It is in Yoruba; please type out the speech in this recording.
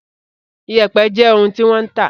Iyẹ̀pẹ̀ jé òún ti wan tá